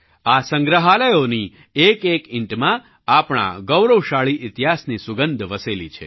આ સંગ્રહાલયોની એકએક ઈંટમાં આપણા ગૌરવશાળી ઈતિહાસની સુગંધ વસેલી છે